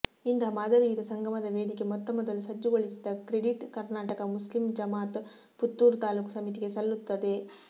ಇಂತಹ ಮಾದರಿಯುತ ಸಂಗಮದ ವೇದಿಕೆ ಮೊತ್ತಮೊದಲು ಸಜ್ಜುಗೊಳಿಸಿದ ಕ್ರೆಡಿಟ್ ಕರ್ನಾಟಕ ಮುಸ್ಲಿಂ ಜಮಾಅತ್ ಪುತ್ತೂರು ತಾಲೂಕು ಸಮಿತಿ ಗೆ ಸಲ್ಲುತ್ತದೆ